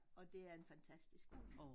Og det er en fantastisk hund